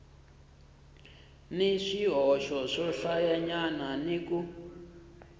ni swihoxo swohlayanyana ni ku